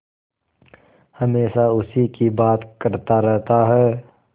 हमेशा उसी की बात करता रहता है